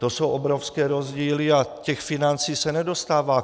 To jsou obrovské rozdíly a těch financí se nedostává.